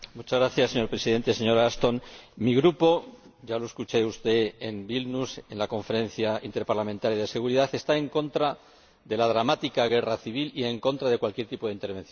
Señor Presidente, señora Ashton, mi Grupo ―ya lo escuchó usted en Vilna, en la Conferencia Interparlamentaria de Seguridad― está en contra de la dramática guerra civil y en contra de cualquier tipo de intervención.